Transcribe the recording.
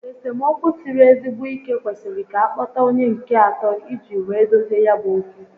Esemokwu siri ezigbo ike kwesịrị ka a kpota onye nke atọ iji wee dozie ya bu okwu